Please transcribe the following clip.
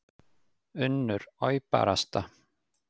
UNNUR: Oj, barasta.